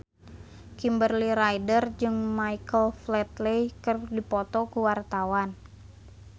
Kimberly Ryder jeung Michael Flatley keur dipoto ku wartawan